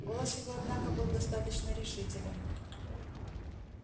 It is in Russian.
голос его однако был достаточно решителен